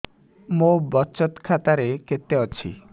ମୋ ବଚତ ଖାତା ରେ କେତେ ଅଛି